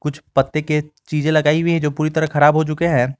कुछ पत्ते के चीजें लगाई हुई हैं जो पूरी तरह खराब हो चुके हैं।